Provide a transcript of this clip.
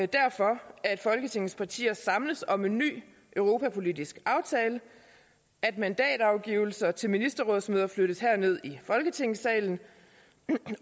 derfor at folketingets partier samles om en ny europapolitisk aftale at mandatafgivelse til ministerrådsmøder flyttes herned i folketingssalen